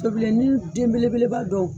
Tobilen ni den bele beleba dɔw.